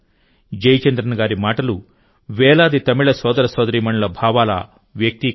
జయచంద్రన్ గారి మాటలు వేలాది తమిళ సోదర సోదరీమణుల భావాల వ్యక్తీకరణ